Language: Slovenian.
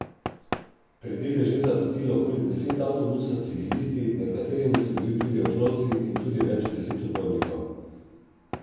Predel je že zapustilo okoli deset avtobusov s civilisti, med katerimi so bili tudi otroci, in tudi več deset upornikov.